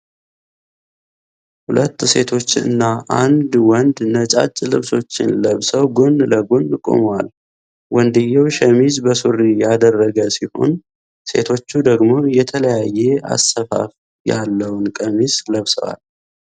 ሁለት ሴቶች እና አንድ ወንድ ነጫጭ ልብሶችን ለብሰው ጎን ለጎን ቆመዋል። ወንድየው ሸሚዝ በሱሪ ያደረገ ሲሆን ሴቶቹ ደግሞ የተለያየ አሰፋፋ ያለውን ቀሚስ ለብሰዋል።